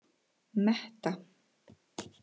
Metta